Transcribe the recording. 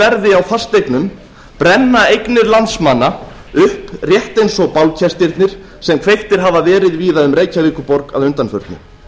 verði á fasteignum brenna eignir landsmanna upp rétt eins og bálkestirnir sem kveiktir hafa verið víða um reykjavíkurborg að undanförnu